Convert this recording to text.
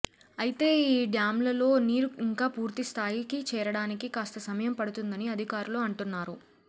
అయితే ఈ డ్యాంలలో నీరు ఇంకా పూర్తిస్థాయికి చేరడానికి కాస్త సమయం పడుతుందని అధికారులు అంటున్నారు